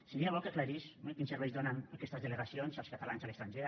seria bo que aclarís quins serveis donen aquestes delegacions als catalans a l’estranger